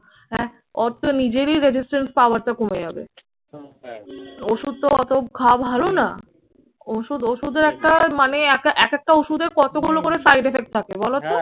হ্যাঁ ওর তো নিজেরই resistance power টা কমে যাবে। ওষুধ তো অত খাওয়া ভালো না। ওষুধ ওষুধের একটা মানে এক একটা ওষুধের কতগুলো করে side effect থাকে বলতো?